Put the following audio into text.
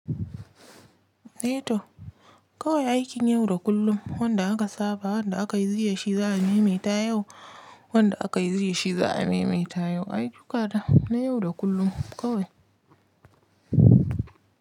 Eh to, kawai aikin yau da kullum wanda aka saba wanda aka yi jiya shi za'a maimaita yau, wanda aka yi jiya shi za'a maimaita yau. Ayyukata na yau da kullum kawai.